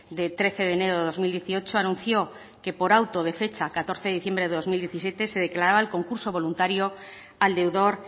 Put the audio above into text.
de trece de enero de dos mil dieciocho anunció que por auto de fecha catorce de diciembre de dos mil diecisiete se declaraba el concurso voluntario al deudor